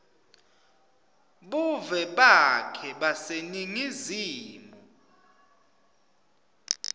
buve bakhe baseningizimu